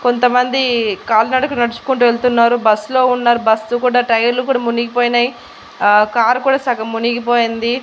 కొంతమంది కాలినడక నడుచుకుంటూ వెళ్తున్నారు బస్సు లో ఉన్నారు బస్ కూడా టైర్లు కూడా మునిగిపోయినాయ్ ఆ కార్ కూడా సగం మునిగి పోయింది.